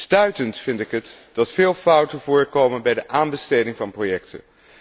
Stuitend vind ik het dat veel fouten voorkomen bij de aanbesteding van projecten.